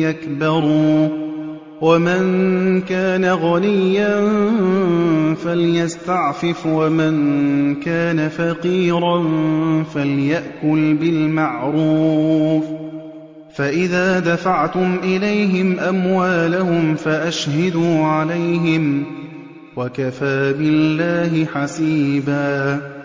يَكْبَرُوا ۚ وَمَن كَانَ غَنِيًّا فَلْيَسْتَعْفِفْ ۖ وَمَن كَانَ فَقِيرًا فَلْيَأْكُلْ بِالْمَعْرُوفِ ۚ فَإِذَا دَفَعْتُمْ إِلَيْهِمْ أَمْوَالَهُمْ فَأَشْهِدُوا عَلَيْهِمْ ۚ وَكَفَىٰ بِاللَّهِ حَسِيبًا